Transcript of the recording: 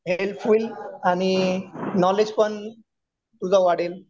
Help होईल आणि knowledge पण तुझं वाढेल.